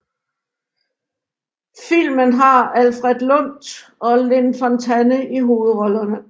Filmen har Alfred Lunt og Lynn Fontanne i hovedrollerne